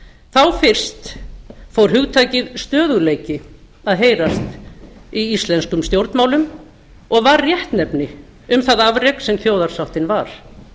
þá fyrst fór hugtakið stöðugleiki að heyrast í íslenskum stjórnmálum og var réttnefni um það afrek sem þjóðarsáttin var